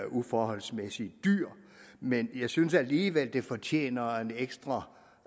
uforholdsmæssig dyr men jeg synes alligevel det fortjener en ekstra